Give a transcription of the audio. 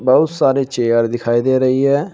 बहुत सारे चेयर दिखाई दे रही है।